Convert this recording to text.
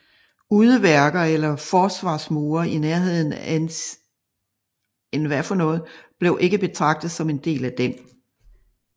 Udeværker eller forsvarmure i nærheden af enceinten blev ikke betragtet som en del af den